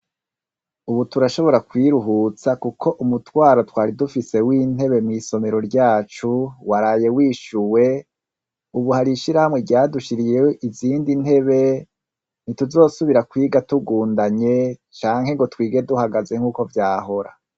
Ubu turashobora kwiruhutsa kuko umutwaro twari dufise w'intebe mw'isomero ryacu waraye wishuwe ubu hari ishirahamwe ryadushiriyeho izindi ntebe ntituzosubira kwiga tugundanye canke ngo twige duhagaze nk'uko vyahora.